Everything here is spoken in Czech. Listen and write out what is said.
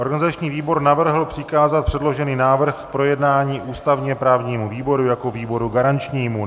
Organizační výbor navrhl přikázat předložený návrh k projednání ústavně-právnímu výboru jako výboru garančnímu.